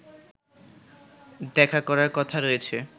দেখা করার কথা রয়েছে